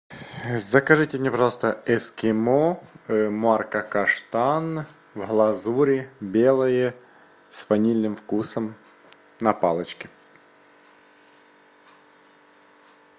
закажите мне пожалуйста эскимо марка каштан в глазури белое с ванильным вкусом на палочке